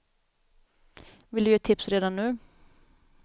Vill du ge tips redan nu.